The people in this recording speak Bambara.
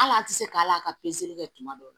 Hali an tɛ se k'a la ka kɛ kuma dɔw la